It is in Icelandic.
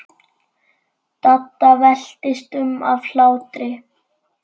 Dadda veltist um af hlátri.